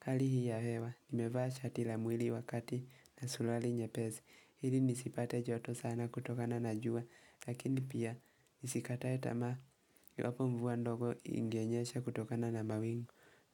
hali hii ya hewa, nimevaa shatila mwili wakati na suruali nye pezi. Hili nisipate joto sana kutokana na jua lakini pia nisikatae tamaa iwapo mvua ndogo ingenyesha kutokana na mbawingu